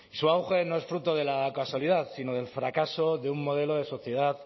su auge no es fruto de la casualidad sino del fracaso de un modelo de sociedad